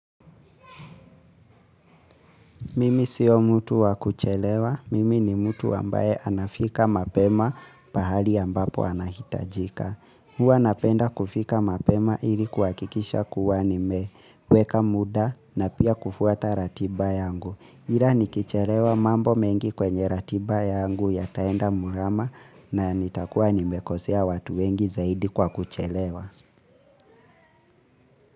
Mimi sio mtu wa kuchelewa, mimi ni mtu ambaye anafika mapema pahali ambapo anahitajika. Huwa napenda kufika mapema ili kuhakikisha kuwa ni meweka muda na pia kufuata ratiba yangu. Ila nikichelewa mambo mengi kwenye ratiba yangu yataenda murama na nitakuwa ni mekosea watu wengi zaidi kwa kuchelewa.